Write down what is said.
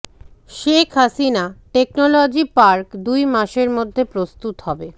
Sheikh Hasina technology park দুই মাসের মধ্যে প্রস্তুত হবে